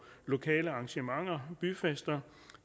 lokale arrangementer byfester